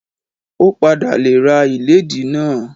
Ó padà le ra ìlédìí náà.